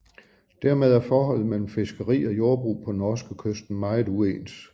Dermed er forholdet mellem fiskeri og jordbrug på norskekysten meget uens